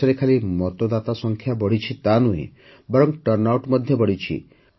ଦେଶରେ ଖାଲି ମତଦାତା ସଂଖ୍ୟା ବଢ଼ିଛି ତାନୁହେଁ ବରଂ ଟର୍ଣ୍ଣଆଉଟ ମଧ୍ୟ ବଢ଼ିଛି